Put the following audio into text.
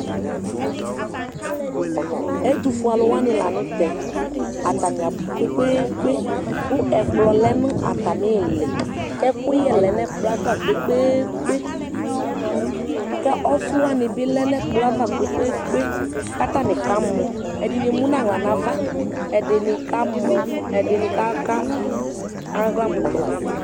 Ɛtʋfue alʋ wani lanʋtɛ atani abʋ kpe kpe kpe kʋ ɛkplɔ lɛnʋ atami iili kʋ ɛkʋyɛ lɛnʋ ɛkplɔ yɛ ava kpe kpe kpe kʋ ɔfiwani bi lɛnʋ ɛlplɔɛ ava kpe kpe kpe kʋ atani kamɔ ɛdini ɛmʋnʋ aɣla nʋ ava ɛdini kamɔ ɛdini aka aɣla mʋ tɛ nʋ ava